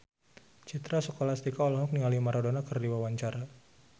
Citra Scholastika olohok ningali Maradona keur diwawancara